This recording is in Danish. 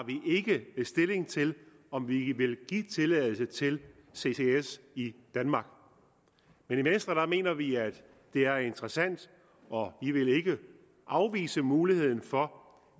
stilling til om vi vil give tilladelse til ccs i danmark i venstre mener vi at det er interessant og vi vil ikke afvise muligheden for